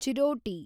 ಚಿರೋಟಿ